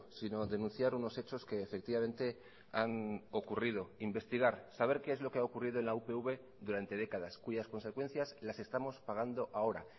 sino denunciar unos hechos que efectivamente han ocurrido investigar saber qué es lo que ha ocurrido en la upv durante décadas cuyas consecuencias las estamos pagando ahora